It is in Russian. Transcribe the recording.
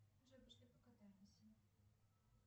джой пошли покатаемся